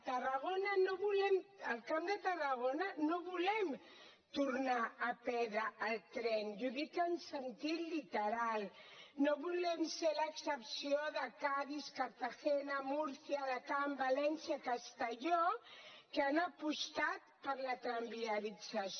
al camp de tarragona no volem tornar a perdre el tren i ho dic en sentit literal no volem ser l’excepció de cadis cartagena múrcia alacant valència castelló que han apostat per la tramviarització